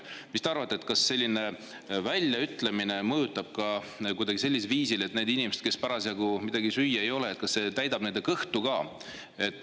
Mis te arvate, kas selline väljaütlemine mõjutab ka kuidagi sellisel viisil, et neil inimestel, kel parasjagu midagi süüa ei ole, see täidab kõhtu?